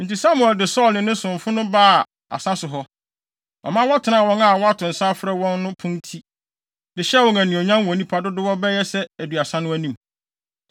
Enti Samuel de Saulo ne ne somfo no baa asa so hɔ. Ɔma wɔtenaa wɔn a wɔato nsa afrɛ wɔn no pon ti, de hyɛɛ wɔn anuonyam wɔ nnipa dodow bɛyɛ sɛ aduasa no anim.